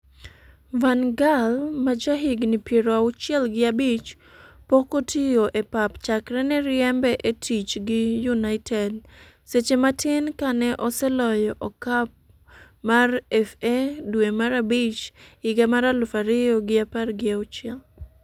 Van Gaal, ma jahigni piero auchiel gi abich, pok otiyo e pap chakre ne riembe e tich gi United seche matin kane oseloyo okap mar FA dwe mar abich higa mar aluf ariyo gi apar gi auchiel